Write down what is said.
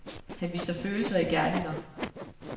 Han viser følelser i gerninger.